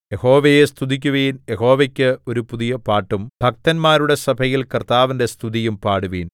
യഹോവയെ സ്തുതിക്കുവിൻ യഹോവയ്ക്ക് ഒരു പുതിയ പാട്ടും ഭക്തന്മാരുടെ സഭയിൽ കർത്താവിന്റെ സ്തുതിയും പാടുവിൻ